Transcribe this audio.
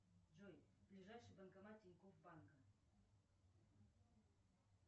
джой ближайший банкомат тинькофф банка